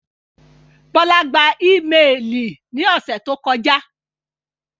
Bọla gbà imẹ́ẹlí ní òṣè tó kọja.